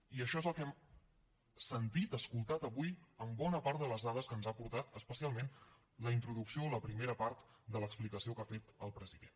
i això és el que hem sentit escoltat avui en bona part de les dades que ens ha portat especialment la introducció o la primera part de l’explicació que ha fet el president